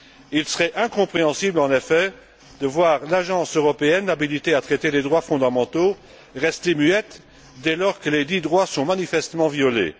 Il serait incompréhensible, en effet, de voir l'Agence européenne habilitée à traiter les droits fondamentaux rester muette dès lors que lesdits droits sont manifestement violés.